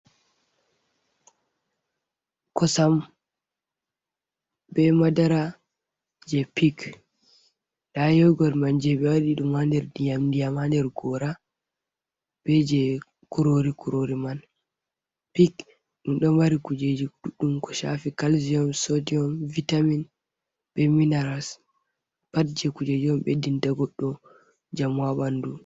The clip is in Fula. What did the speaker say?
Kosam bee madara jey pik nda yogot man je ɓe waɗi ɗum haa nder ndiyam-ndiyam haa nder goora bee jey kuroori-kuroori man pik ɗum ɗo mari kuujeeji ɗuɗɗum ko shafi calcium, sodium, vitamin bee minerals pat jey kuujeeji on ɓeddinta goɗɗo njamu haa ɓanndu